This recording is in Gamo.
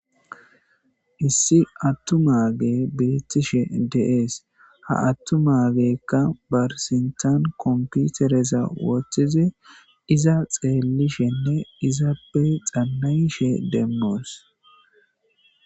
Issi attu maage birittishe deees ha attu maagekka barsintan komputereza woththizi iza xeellishenne izaappe xannayishe demmoos